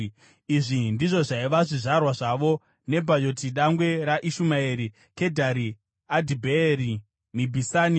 Izvi ndizvo zvaiva zvizvarwa zvavo: Nebhayoti dangwe raIshumaeri, Kedhari, Adhibheeri, Mibhisami,